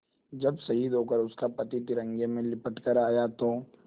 जब शहीद होकर उसका पति तिरंगे में लिपट कर आया था तो